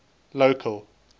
local